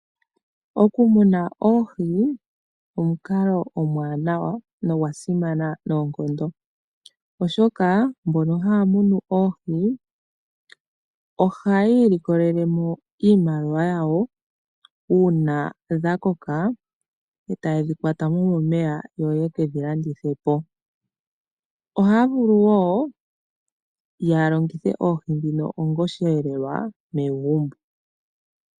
Oku muna oohi omukalo omuwanawa nogwa simana noonkondo. Oshoka mbono haa munu oohi ohayi' ilikolelemo iimaliwa yawo, una dha koka e taye dhi kwatamo momeya yo yekedhi landithepo. Ohaa vulu wo oku longitha oohi dhino onga oshihelelwa megumbo.